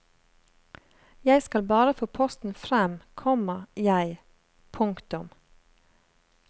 Jeg skal bare få posten frem, komma jeg. punktum